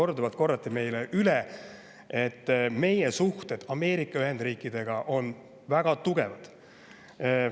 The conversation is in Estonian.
Ja korduvalt korrati meile üle, et meie suhted Ameerika Ühendriikidega on väga tugevad.